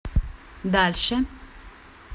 дальше